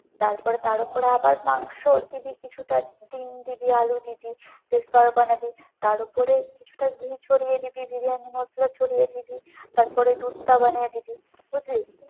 তারপরে তার উপরে আবার মাংস দিবি কিছুটা, ডিম্ দিবি, আলু দিবি, দিয়ে স্তর বানাবি, তার উপরে কিছুটা ঘি ছড়িয়ে দিবি, বিরিয়ানির মশলা ছড়িয়ে দিবি, তারপরে দুধটা বানিয়ে দিবি, বুঝলি?